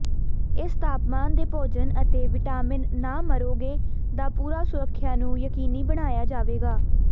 ਇਸ ਤਾਪਮਾਨ ਦੇ ਭੋਜਨ ਅਤੇ ਵਿਟਾਮਿਨ ਨਾ ਮਰੋਗੇ ਦਾ ਪੂਰਾ ਸੁਰੱਖਿਆ ਨੂੰ ਯਕੀਨੀ ਬਣਾਇਆ ਜਾਵੇਗਾ